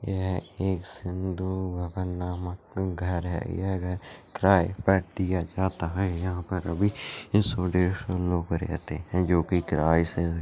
यह एक सिंधु भवन नामक घर है यह घर किराए पर दिया जाता है यहाँ पर अभी सौ डेढ़ सौ लोग रहते है जो कि किराए से--